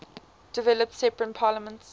developed separate parliaments